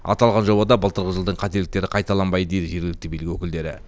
аталған жобада былтырғы жылдың қателіктері қайталанбайды дейді жергілікті билік өкілдері